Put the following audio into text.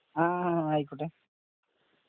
ങാ. ആയിക്കോട്ടെ